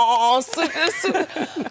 Deyirəm, ah, super, super.